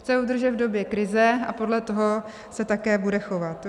Chce udržet v době krize a podle toho se také bude chovat.